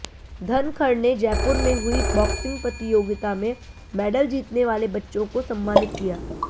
धनखड़ ने जयपुर में हुई बॉक्सिग प्रतियोगिता में मैडल जीतने वाले बच्चों को सम्मानित किया